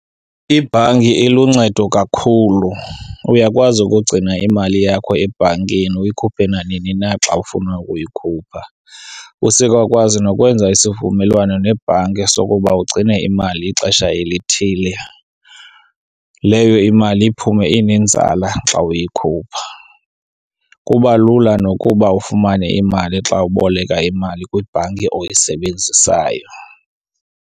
Ibhanki iluncedo kakhulu. Uyakwazi ukugcina imali yakho ebhankini uyikhuphe nanini na xa ufuna ukuyikhupha. Usekwakwazi nokwenza isivumelwano nebhanki sokuba ugcine imali ixesha elithile, leyo imali iphume inenzala xa uyikhupha. Kuba lula nokuba ufumane imali xa uboleka imali kwibhanki oyisebenzisayo.